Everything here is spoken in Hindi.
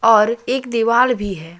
और एक दीवार भी है।